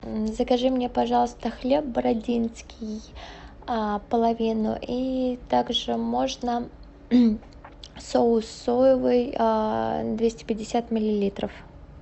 закажи мне пожалуйста хлеб бородинский половину и также можно соус соевый двести пятьдесят миллилитров